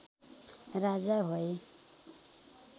राजा भए